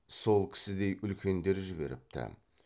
сол кісідей үлкендер жіберіпті